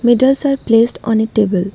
Medals are placed on a table